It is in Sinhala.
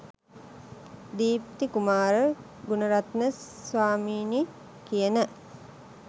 දීප්ති කුමාර ගුනරත්න ස්වාමීනී කියන